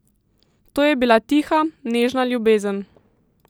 To je bila tiha, nežna ljubezen.